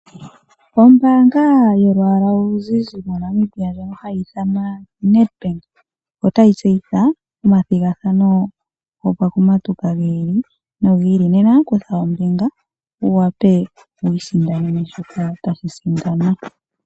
Ombaanga yolwaala oluzizi moNamibia ndyoka hayi ithanwa Nedbank otayi tseyitha omathigathano gokumatuka gi ili nogi ili, nena kutha ombinga wu wape wiisindanene shokat tashi sindanwa.